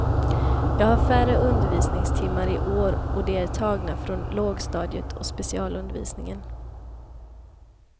Jag har färre undervisningstimmar i år, och de är tagna från lågstadiet och specialundervisningen.